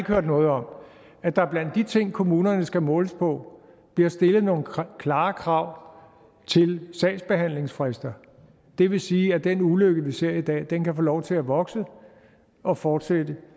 hørt noget om at der blandt de ting kommunerne skal måles på bliver stillet nogle klare krav til sagsbehandlingsfrister det vil sige at den ulykke vi ser i dag kan få lov til at vokse og fortsætte